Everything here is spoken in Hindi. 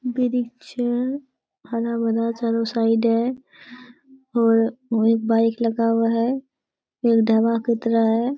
वृक्ष है हरा-भरा चारों साइड है और एक बाइक लगा हुआ है। एक ढाबा की तरह है।